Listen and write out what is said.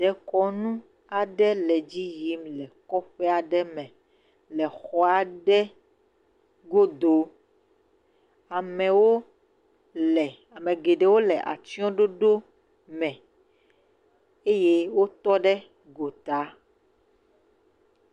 Dekɔnu aɖe le dzi yim le kɔƒe aɖe me le xɔ aɖe godo. Amewo le ame geɖewo le atsɔɖoɖo me eye wotɔ ɖe gota.